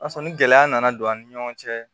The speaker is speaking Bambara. O y'a sɔrɔ ni gɛlɛya nana don an ni ɲɔgɔn cɛ